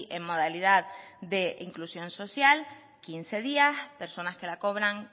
en modalidad de inclusión social quince días personas que la cobran